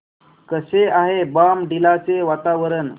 कसे आहे बॉमडिला चे वातावरण